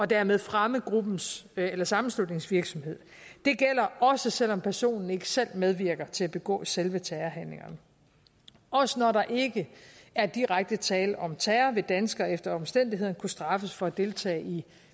dermed fremmer gruppens eller sammenslutningens virksomhed det gælder også selv om personen ikke selv medvirker til at begå selve terrorhandlingerne også når der ikke er direkte tale om terror vil danskere efter omstændighederne kunne straffes for at deltage i